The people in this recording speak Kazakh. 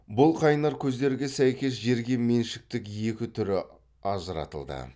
бұл қайнар көздерге сәйкес жерге меншіктің екі түрі ажыратылды